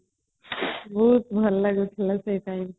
ବହୁତ ଭଲ ଲାଗୁଥିଲା ସେ ଟାଇମ